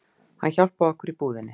Hann hjálpaði okkur í búðinni